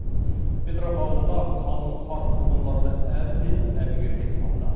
петропавлда қалын қар тұрғындарды әбден әбігерге салды